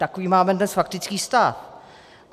Takový máme dnes faktický stav.